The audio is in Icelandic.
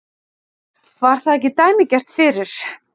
Var það ekki dæmigert fyrir